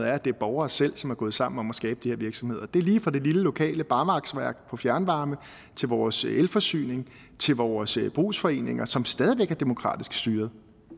er at det er borgere selv som er gået sammen om at skabe de her virksomheder det er lige fra det lille lokale barmarksværk for fjernvarme til vores elforsyning til vores brugsforeninger som stadig væk er demokratisk styret